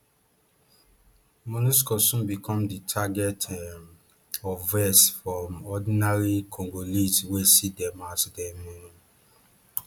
monusco soon become di target um of vex from ordinary congolese wey see dem as dem um